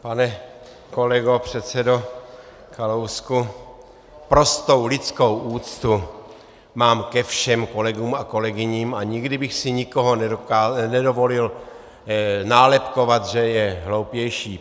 Pane kolego, předsedo Kalousku, prostou lidskou úctu mám ke všem kolegům a kolegyním a nikdy bych si nikoho nedovolil nálepkovat, že je hloupější.